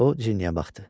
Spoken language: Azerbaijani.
O Ciniyə baxdı.